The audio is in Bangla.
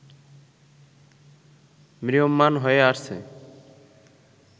ম্রিয়মাণ হয়ে আসছে